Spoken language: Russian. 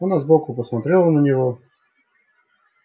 она сбоку посмотрела на него